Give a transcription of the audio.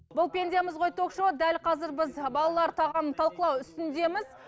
бұл пендеміз ғой ток шоуы дәл қазір біз балалар тағамын талқылау үстіндеміз